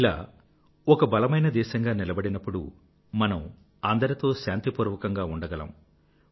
ఇలాగే మనం ఒక బలమైన దేశం గా నిలబడినప్పుడు మనం అందరితో శాంతిపూర్వకంగా ఉండగలరు